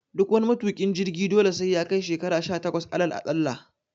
Duk wani matuƙin jirgi dole sai yakai shekara sha takwas alal aɗalla